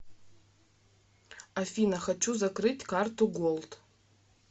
афина хочу закрыть карту голд